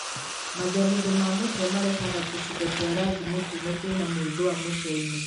Mathemithũ ma mũtwe marehaga tũcigo twa rangi mũtune twĩna mwĩthũa mũtwe-inĩ.